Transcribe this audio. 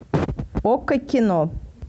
окко кино